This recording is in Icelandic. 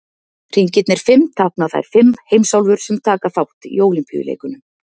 Hringirnir fimm tákna þær fimm heimsálfur sem taka þátt í Ólympíuleikunum.